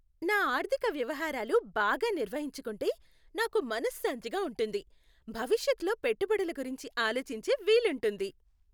నా ఆర్థిక వ్యవహారాలు బాగా నిర్వహించుకుంటే నాకు మనశ్శాంతిగా ఉంటుంది, భవిష్యత్లో పెట్టుబడుల గురించి ఆలోచించే వీలుంటుంది.